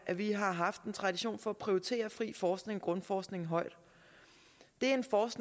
at vi har haft en tradition for at prioritere fri forskning og grundforskning højt det